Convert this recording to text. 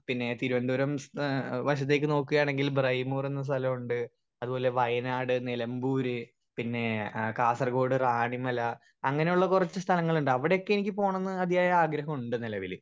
speaker 1 പിന്നെ തിരുവന്തപുരം ഏഹ് വശത്തേക്ക് നോക്കാണെങ്കിൽ ബ്രെമോർ എന്ന സ്ഥലോണ്ട് അത് പോലെ വയനാട് നിലമ്പൂർ പിന്നെ ആ കാസർഗോഡ് റാണിമല അങ്ങനുള്ള കൊറച്ച് സ്ഥലങ്ങലിണ്ട് അവിടൊക്കെ എനിക്ക് പോണന്ന് ആദ്യയായ ആഗ്രഹുണ്ട് നിലവിൽ